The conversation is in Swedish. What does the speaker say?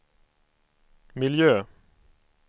miljö